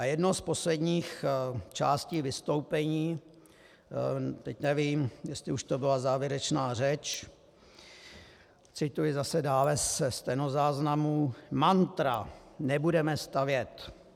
A jedno z posledních částí vystoupení, teď nevím, jestli už to byla závěrečná řeč, cituji zase dále ze stenozáznamu: "Mantra nebudeme stavět.